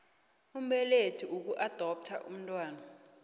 mbelethi ukuadoptha umntwana